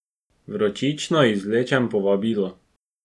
Vročično izvlečem povabilo.